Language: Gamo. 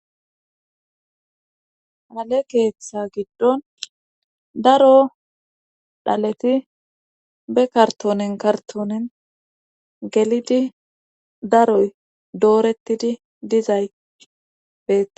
Hale keeththa giddon daro dhaleti be kartoonen kartoonen gelidi daroy doorettidi dizay beee.